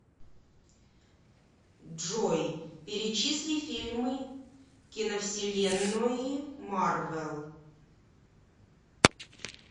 джой перечисли фильмы киновселеннои марвел